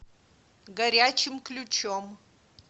горячим ключом